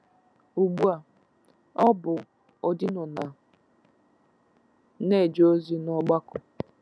Ugbu a, ọ bụ odino na - eje ozi n’ọgbakọ